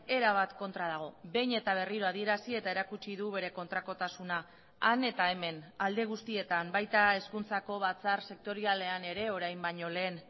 erabat kontra dago behin eta berriro adierazi eta erakutsi du bere kontrakotasuna han eta hemen alde guztietan baita hezkuntzako batzar sektorialean ere orain baino lehen